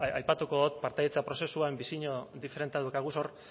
aipatuko dut partaidetza prozesuan bisio diferentea daukagu hor